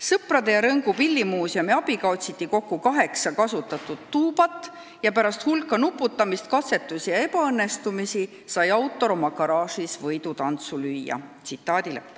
Sõprade ja Rõngu pillimuuseumi abiga otsiti kokku kaheksa kasutatud tuubat ja pärast hulka nuputamist, katsetusi ja ebaõnnestumisi sai autor oma garaažis võidutantsu lüüa.